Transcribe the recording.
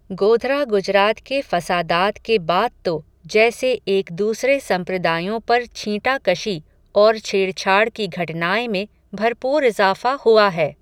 गोधरा गुजरात के फ़सादात के बाद तो, जैसे एक दूसरे सम्प्रदायों पर छींटा कशी, और छेड़छाड़ की घटनाएं में, भरपूर इज़ाफ़ा हुआ है